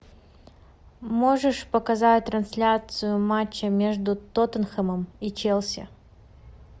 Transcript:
можешь показать трансляцию матча между тоттенхэмом и челси